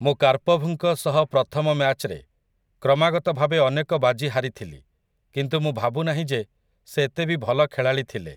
ମୁଁ କାର୍ପଭ୍‌ଙ୍କ ସହ ପ୍ରଥମ ମ‍୍ୟାଚ୍‌ରେ କ୍ରମାଗତ ଭାବେ ଅନେକ ବାଜି ହାରିଥିଲି, କିନ୍ତୁ ମୁଁ ଭାବୁନାହିଁ ଯେ ସେ ଏତେବି ଭଲ ଖେଳାଳି ଥିଲେ ।